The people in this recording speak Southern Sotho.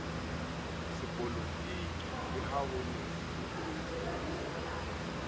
sepolotiki le ha ho ne